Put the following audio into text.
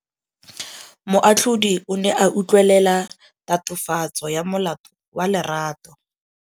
Moatlhodi o ne a utlwelela tatofatsô ya molato wa Lerato.